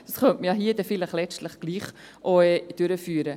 Das könnte man dann hier letztlich doch auch durchführen.